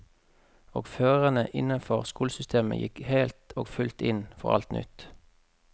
Og førerne innenfor skolesystemet gikk helt og fullt inn for alt nytt.